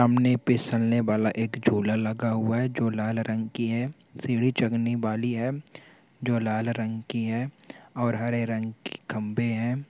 सामने फिसलने वाला एक झूला लगा हुवा है जो लाल रंग का है सीडी चढ़ने बाली है जो लाल रंग की है और हरे रंग के खम्भे है।